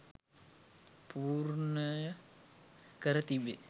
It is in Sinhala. පූර්ණය කර තිබේ